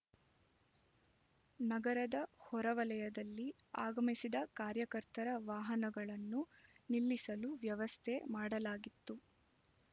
ನಗರದ ಹೊರವಲಯದಲ್ಲಿ ಆಗಮಿಸಿದ ಕಾರ್ಯಕರ್ತರ ವಾಹನಗಳನ್ನು ನಿಲ್ಲಿಸಲು ವ್ಯವಸ್ಥೆ ಮಾಡಲಾಗಿತ್ತು